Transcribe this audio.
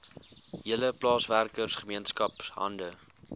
hele plaaswerkergemeenskap hande